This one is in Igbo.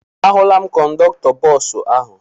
Ahụla m kọndọktọ bọọsụ ahụ.